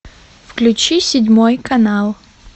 включи седьмой канал